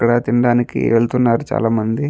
ఇక్కడ తినడానికి వేల్లుతునారు చాల మంది.